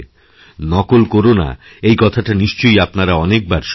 নকল করো না এই কথাটা নিশ্চয় আপনারাঅনেকবার শুনেছেন